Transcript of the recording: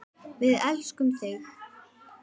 Við elskum þig!